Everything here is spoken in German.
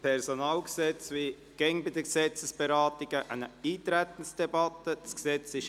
Wir führen wie immer bei Gesetzesberatungen eine Eintretensdebatte durch.